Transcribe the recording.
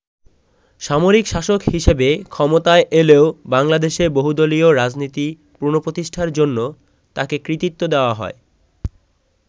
সামরিক শাসক হিসেবে ক্ষমতায় এলেও বাংলাদেশে বহুদলীয় রাজনীতি পুনঃপ্রতিষ্ঠার জন্য তাকে কৃতিত্ব দেয়া হয়।